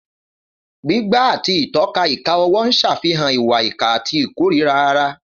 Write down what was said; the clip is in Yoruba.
Gbígbá àti ìtọ́ka ìka ọwọ́ ń ṣàfihàn ìwà ìkà àti ìkórìíra ara.